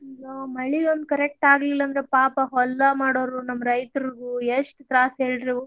ಮಳಿ ಒಂದ್ correct ಆಗ್ಲಿಲ್ಲಾಂದ್ರ ಪಾಪ ಹೊಲ್ದಾಗ್ ಮಾಡೋರ್ ನಮ್ಮ್ ರೈತ್ರುದು ಎಷ್ಟ್ ತ್ರಾಸ ಹೇಳ್ರಿ ಇವ್.